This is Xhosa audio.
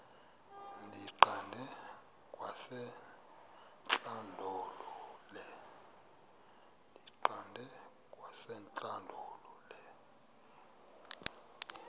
ndiyiqande kwasentlandlolo le